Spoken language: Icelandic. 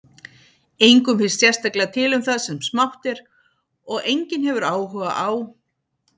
Engum finnst sérstaklega til um það sem smátt er, og enginn hefur áhuga á